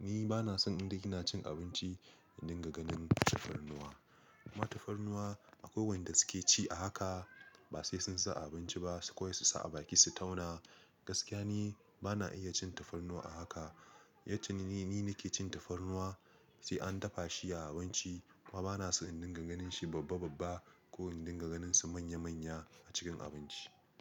Ni bana son in dai kina cin abinci in dinga ganin tafarnuwa. Kuma tafarnuwa akwai wanda suke ci a haka ba sai sun sa a abinci ba su kawai su sa a baki su tauna. Gaskiya ni bana iya cin tafarnuwa a haka, yace ni ni nake cin tafarnuwa sai an dafa shi a abinci kuma bana son in dinga ganin shi babba-babba ko in dinga ganin su manya-manya a cikin abinci.